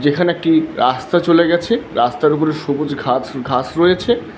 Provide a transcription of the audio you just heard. যেখানে একটি রাস্তা চলে গেছে রাস্তার উপরে সবুজ ঘাচ ঘাস রয়েছে।